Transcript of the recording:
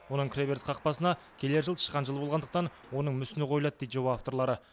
оның кіреберіс қақпасына келер жыл тышқан жылы болғандықтан оның мүсіні қойылады дейді жоба авторлары